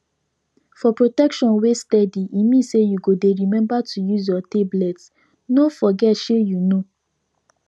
for protection wey steady e mean say you go dey remember to use your tablet no forget shey you know